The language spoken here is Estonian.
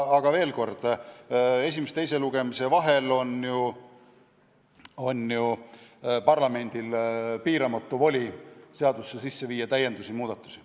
Aga veel kord, esimese ja teise lugemise vahel on parlamendil piiramatu voli viia seaduseelnõusse sisse täiendusi ja muudatusi.